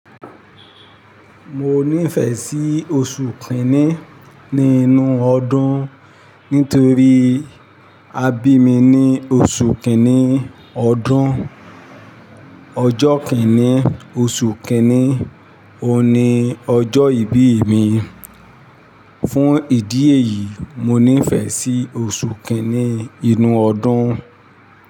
Mo nífẹ̀ẹ́ sí oṣù kìíní nínú ọdún nítorí abí mi ni oṣù kìíní ọdún. Ọjọ́ kìíní oṣù kìíní òun ni ọjọ́ ìbí mi. Fún ìdí èyí mo nífẹ̀ẹ́ sí oṣù kìíní inú ọdún.